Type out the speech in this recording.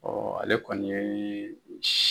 ale kɔni ye